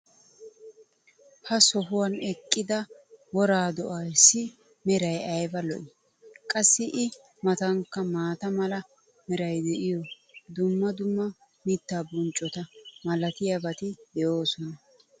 ha sohuwan eqqida woraa do'eessi meray ayba lo'ii? qassi i matankka maata mala meray diyo dumma dumma mitaa bonccota malatiyaabati de'oosona.